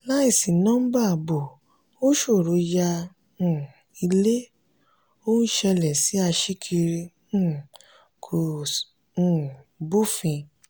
láì sí nọ́bà ààbò ó ṣòro yá um ilé; ó ń ṣẹlẹ̀ sí aṣíkiri um kò um bófin